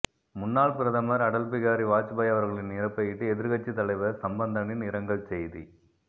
முன்னாள் பிரதமர் அடல் பிகாரி வாஜ்பாய் அவர்களின் இறப்பபையிட்டு எதிர்க்கட்சித் தலைவர் சம்பந்தனின் இரங்கல் செய்தி